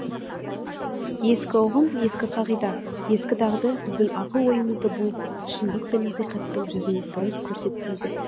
ескі ұғым ескі қағида ескі дағды біздің ақыл ойымызды буып шындық пен ақиқаттың жүзін дұрыс көрсетпейді